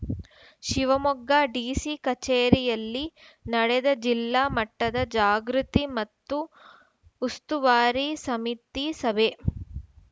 Shivamogga DC ಕಚೇರಿಯಲ್ಲಿ ನಡೆದ ಜಿಲ್ಲಾ ಮಟ್ಟದ ಜಾಗೃತಿ ಮತ್ತು ಉಸ್ತುವಾರಿ ಸಮಿತಿ ಸಭೆ